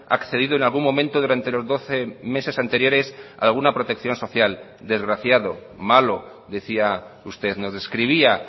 accedido en algún momento durante los doce meses anteriores a alguna protección social desgraciado malo decía usted nos describía